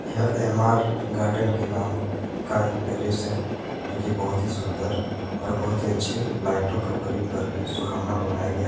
यह M R garden के नाम का एक पैलेस है जो कि बहुत ही सुंदर और बहुत ही अच्छे लाइटों का प्रयोग करके सुहावना बनाया गया है।